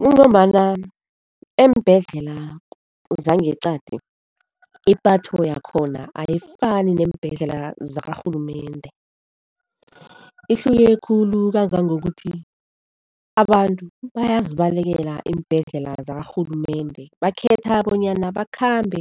Kungombana eembhedlela zangeqadi ipatho yakhona ayifani neembhedlela zakarhulumende. Ihluke khulu kangangokuthi abantu bayazibalekela iimbhedlela zakarhulumende, bakhetha bonyana bakhambe